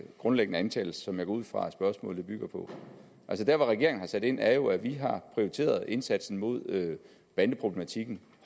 grundlæggende antagelse som jeg går ud fra at spørgsmålet bygger på der hvor regeringen har sat ind er jo at vi har prioriteret indsatsen mod bandeproblematikken